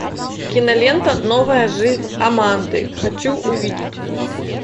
кинолента новая жизнь аманды хочу увидеть